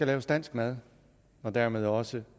laves dansk mad og dermed også